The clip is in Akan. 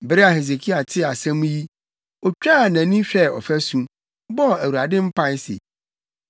Bere a Hesekia tee asɛm yi, otwaa nʼani hwɛɛ ɔfasu, bɔɔ Awurade mpae se,